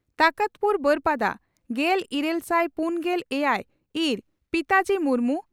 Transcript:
ᱛᱚᱠᱚᱛᱯᱩᱨ ᱵᱟᱹᱨᱯᱟᱫᱟ ᱾ᱜᱮᱞ ᱤᱨᱟᱹᱞ ᱥᱟᱭ ᱯᱩᱱᱜᱮᱞ ᱮᱭᱟᱭ ᱹ ᱤᱨ ᱯᱤᱛᱟᱡᱤ ᱢᱩᱨᱢᱩ